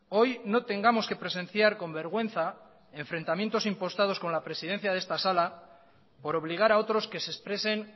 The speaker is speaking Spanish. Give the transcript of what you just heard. hoy no tengamos que presenciar con vergüenza enfrentamientos impostados con la presidencia de esta sala por obligar a otros que se expresen